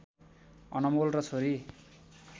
अनमोल र छोरी